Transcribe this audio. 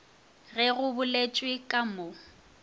ge go boletšwe ka mo